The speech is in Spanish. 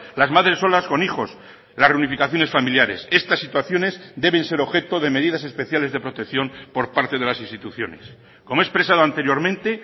las madres solas con hijos las reunificaciones familiares estas situaciones deben ser objeto de medidas especiales de protección por parte de las instituciones como he expresado anteriormente